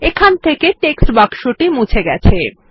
এখান থেকে টেক্সট বাক্সটি মুছে গেছে